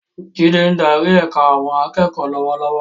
Jide ń darí ẹ̀ka àwọn akẹ́kọ̀ọ́ lọ́wọ́lọ́wọ́.